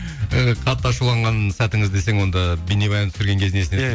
і қатты ашуланған сәтіңіз десең онда бейнебаян түсірген кезін